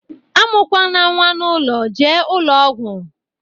A mụ kwana nwa n'ụlọ, jee ụlọ ọgwụ!